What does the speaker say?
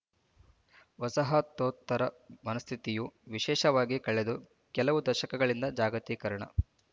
ವಸಾಹತೋತ್ತರ ಮನಸ್ಥಿತಿಯು ವಿಶೇಷವಾಗಿ ಕಳೆದ ಕೆಲವು ದಶಕಗಳಿಂದ ಜಾಗತೀಕರಣ